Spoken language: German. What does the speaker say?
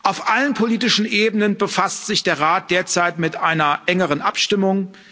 Auf allen politischen Ebenen befasst sich der Rat derzeit mit einer engeren Abstimmung.